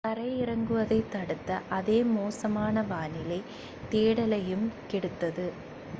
தரை இறங்குவதைத் தடுத்த அதே மோசமான வானிலை தேடலையும் கெடுத்தது